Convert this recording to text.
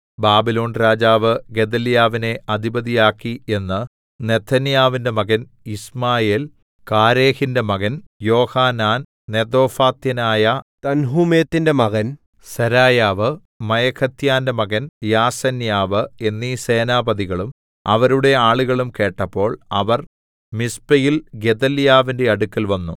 ബാബിലോൺരാജാവ് ഗെദല്യാവിനെ അധിപതിയാക്കി എന്ന് നെഥന്യാവിന്റെ മകൻ യിശ്മായേൽ കാരേഹിന്റെ മകൻ യോഹാനാൻ നെതോഫാത്യനായ തൻഹൂമെത്തിന്റെ മകൻ സെരായ്യാവ് മയഖാത്യന്റെ മകൻ യാസന്യാവ് എന്നീ സേനാപതികളും അവരുടെ ആളുകളും കേട്ടപ്പോൾ അവർ മിസ്പെയിൽ ഗെദല്യാവിന്റെ അടുക്കൽ വന്നു